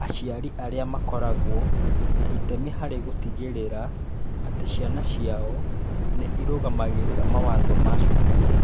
Aciari arĩa makoragwo na itemi harĩ gũtigĩrĩra atĩ ciana ciao nĩ irũmagĩrĩra mawatho ma cukuru